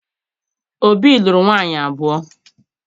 Obi lụrụ nwaanyị abụọ.